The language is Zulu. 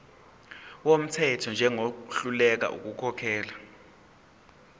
wumthetho njengohluleka ukukhokhela